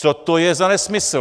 Co to je za nesmysl?